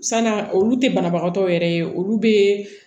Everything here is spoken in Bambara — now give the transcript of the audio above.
San'a olu tɛ banabagatɔ yɛrɛ ye olu bɛ